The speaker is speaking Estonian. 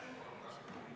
Austatud esimees!